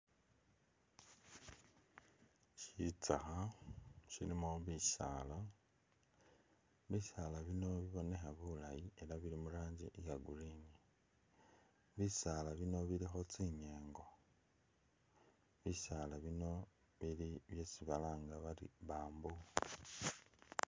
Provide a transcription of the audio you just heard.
Sitsakha silimo bisaala bisaala bino bibonekha bulaayi elah bili muranji iya'green, bisaala bino bulikho tsinyengo, bisaala bino bili byesi balanga bari bamboo